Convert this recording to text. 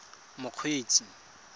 mokgweetsi